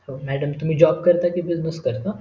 madam तुम्ही job करता कि business करता